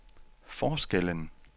forskellen